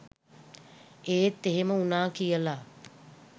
ඒත් එහෙම වුණා කියලා